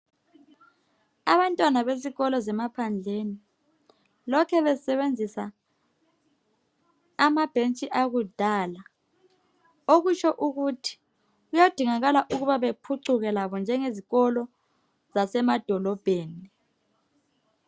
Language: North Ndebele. Abantwana besikolo zemaphandleni lokhu besebenzisa amabhentshi akudala. Okutsho ukuthi kuyadingakala ukuba labo baphucuke nje ngezikolo zasemadolobheni.